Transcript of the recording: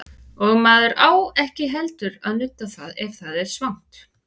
Og maður á ekki heldur að nudda það ef það er svangt.